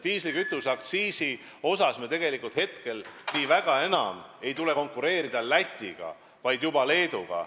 Diislikütuse aktsiisi osas meil tegelikult nii väga enam ei tule konkureerida Lätiga, vaid juba Leeduga.